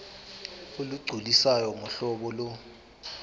olugculisayo ngohlobo lo